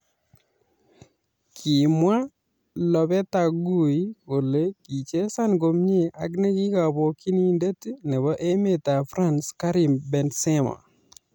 Kimwa Lopetagui kole kichesan komie ak ne kabokyinindet nebo emetab France Karim Benzema